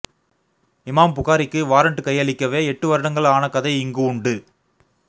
இமாம் புகாரிக்கு வாரண்ட் கையளிக்கவே எட்டுவருடங்கள் ஆன கதை இங்கு உண்டு